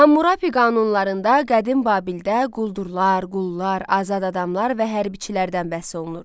Hammurapi qanunlarında qədim Babildə quldurlar, qullar, azad adamlar və hərbiçilərdən bəhs olunur.